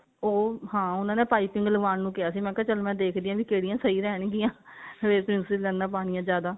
ਉਹ ਹਾਂ ਉਹਨਾਂ ਨੇ ਪਾਈਪਿੰਨ ਲਾਵਉਣ ਨੂੰ ਕੀਤਾ ਸੀ ਮੈਂ ਕਿਹਾ ਚੱਲ ਮੈਂ ਦੇਖਦੀ ਆ ਵੀ ਕਿਹੜੀਆਂ ਸਹੀ ਰਹਿਣਗੀਆਂ princess ਲਾਈਨਾ ਪਾਉਣੀਆ ਜਿਆਦਾ